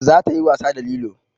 Za ta yi wasa da lilo